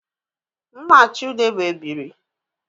M na Chude bu ebiri